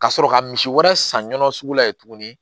Ka sɔrɔ ka misi wɛrɛ san ɲɔn sugu la yen tuguni